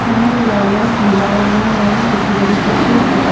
খনৰ ৱাল ত নীলা ৰঙৰ ৰং দেখিবলৈ পোৱা গৈছে।